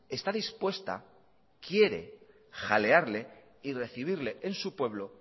está dispuesta quiere jalearle y recibirle en su pueblo